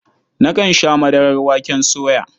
Nakan sha madarar waken soya.